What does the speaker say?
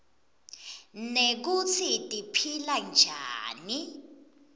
nekutsi tiphila njani